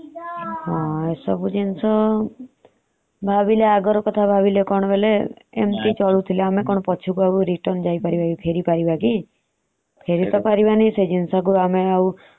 ଏସବୁ ଜିନିଷ ଭାବିଲେ ଅଗର କଥା ଭାବିଲେ କଣ ବୋଲେ ଏମତି ଥିଲେ ଆମେ କଣ ପଛକୁ ଆଉ return ଫେରିପାରିବ କି?